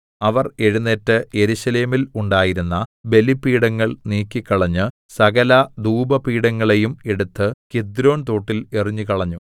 അവർ എഴുന്നേറ്റ് യെരൂശലേമിൽ ഉണ്ടായിരുന്ന ബലിപീഠങ്ങൾ നീക്കിക്കളഞ്ഞ് സകല ധൂപ പീഠങ്ങളെയും എടുത്ത് കിദ്രോൻതോട്ടിൽ എറിഞ്ഞുകളഞ്ഞു